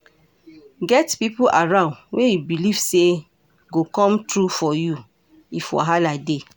Get pipo around wey you belive sey go come through for you if wahala dey